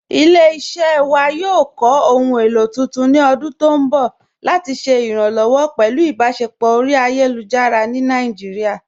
Ilẹ̀-iṣẹ́ wa yóò kọ́ ohun èlo tuntun ni ọ̀dún tó nbọ̀ lati ṣẹ̀ iránlọ́wọ̀ pẹ̀lú ìbáṣẹpọ̀ ọ̀ri ayélujára ni Naijíríà.